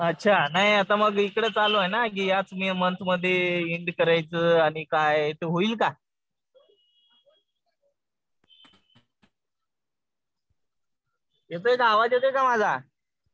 अच्छा. नाही आता मग इकडे चालू आहे ना कि याच मन्थमध्ये एन्ड करायचं आणि काय ते होईल का? येतोय का आवाज येतोय का माझा?